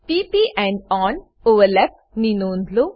p પ end on overlap ની નોંધ લો